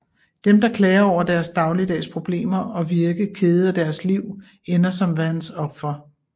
Dem der klager over deres dagligdags problemer og virke kede af deres liv ender som Vanns ofre